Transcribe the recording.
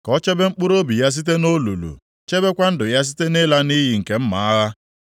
ka o chebe mkpụrụobi ya site nʼolulu, chebekwa ndụ ya site nʼịla nʼiyi nke mma agha.